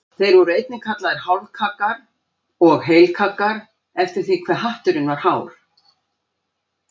Þeir voru einnig kallaðir hálfkaggar og heilkaggar eftir því hve hatturinn var hár.